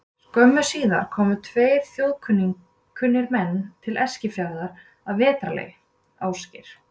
Skömmu síðar komu tveir þjóðkunnir menn til Eskifjarðar að vetrarlagi, Ásgeir